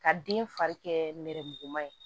Ka den fari kɛ nɛrɛmuguma ye